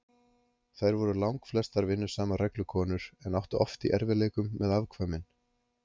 Þær voru langflestar vinnusamar reglukonur, en áttu oft í erfiðleikum með afkvæmin.